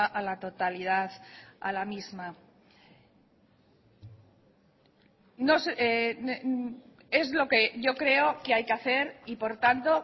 a la totalidad a la misma es lo que yo creo que hay que hacer y por tanto